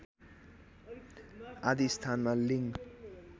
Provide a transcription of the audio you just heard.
आदि स्थानमा लिङ